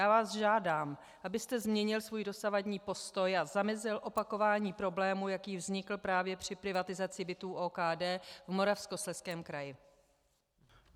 Já vás žádám, abyste změnil svůj dosavadní postoj a zamezil opakování problému, jaký vznikl právě při privatizaci bytů OKD v Moravskoslezském kraji.